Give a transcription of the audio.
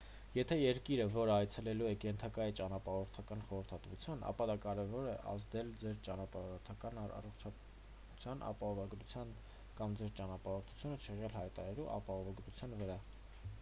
եթե երկիրը որը այցելելու եք ենթակա է ճանապարհորդական խորհրդատվության ապա դա կարող է ազդել ձեր ճանապարհորդական առողջության ապահովագրության կամ ձեր ճանապարհորդությունը չեղյալ հայտարարելու ապահովագրության վրա